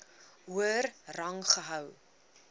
hoër rang gehou